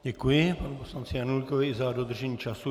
Děkuji panu poslanci Janulíkovi i za dodržení času.